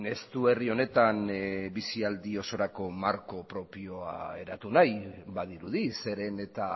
ez du herri honetan bizialdi osorako marko propioa eratu nahi badirudi zeren eta